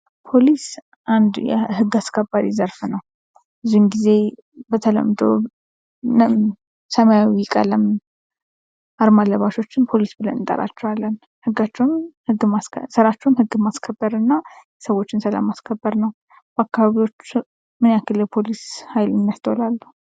ፖሊስ አንድ የህግ አስከባሪ ዘርፍ ነው። ብዙውን ጊዜ በተለምዶ ሰማያዊ ቀለም አርማ ለባሾችን ፖሊስ ብለን እንጠራቸዋለን። ስራቸውም ህግ ማስከበር እና የሰዎችን ሰላም ማስከበር ነው። በአካባቢዎ ምን ያክል ፖሊስን ያስተውላሉ?